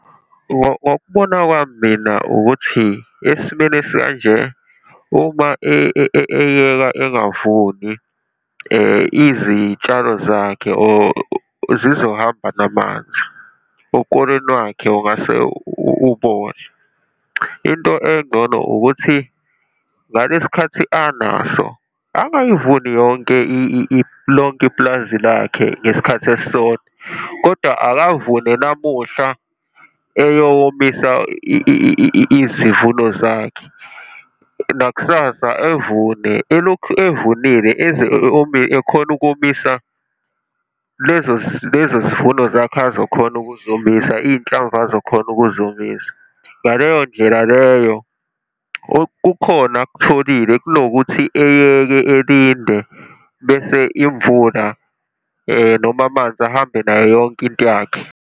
Ngokubona kwami mina ukuthi, esimweni esikanje uma eyeka engavuni, izitshalo zakhe or zizohamba namanzi, ukolweni wakhe ungase ubole. Into engcono ukuthi ngalesikhathi anaso angayivuni yonke lonke ipulazi lakhe ngesikhathi esisodwa, kodwa akavune namuhla eyowomisa izivuno zakhe, nakusasa evune, elokhu evunile, eze ekhone ukomisa lezo lezo zivuno zakhe azokhona ukuzomisa, iy'nhlamvu azokhona ukuzomiza. Ngaleyo ndlela leyo, kukhona akutholile kunokuthi eyeke, elinde bese imvula noma amanzi ahambe nayo yonke into yakhe.